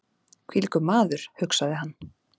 Hvílíkur maður! hugsaði hann.